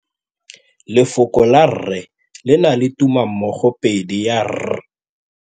Lefoko la rre le na le tumammogôpedi ya, r.